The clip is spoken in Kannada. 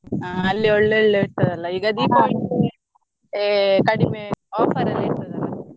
ಹ ಅಲ್ಲಿ ಒಳ್ಳೆ ಒಳ್ಳೆ ಇರ್ತದಲ Deepavali ಗೆ ಕಡಿಮೆ offer ಎಲ್ಲ ಇರ್ತದಲ.